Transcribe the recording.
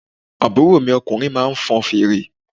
Àbúrò mi ọkùnrin máa ń fọn fèrè.